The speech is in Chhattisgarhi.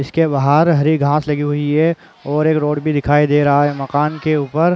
इसके बाहर हरी घास लगी हुई है और एक रोड भी दिखाई दे रहा है मकान के ऊपर--